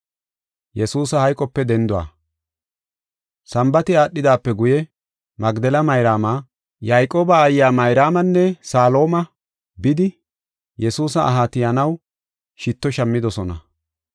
Sambaati aadhidaape guye, Magdela Mayraama, Yayqooba aayiya Mayraamanne Salooma bidi, Yesuusa aha tiyanaw shitto shammidosona.